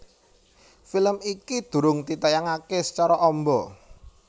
Film iki durung ditayangaké sacara amba